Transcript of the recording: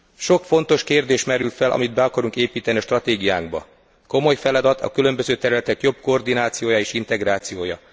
Sok fontos kérdés merül fel, amit be akarunk építeni a stratégiánkba, komoly feladat a különböző területek jobb koordinációja és integrációja.